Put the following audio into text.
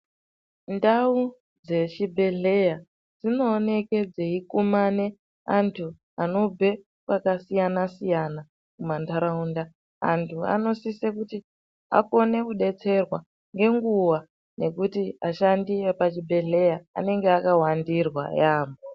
Ndau dzechibhedhlera dzinooneka dzeikumane antu anobve kwakasiyana-siyana pandaraunda antu anosisa kuti akone kudetserwa ngenguwa ngekuti ashandi epachibhedhlera anenge akawandirwa yambo.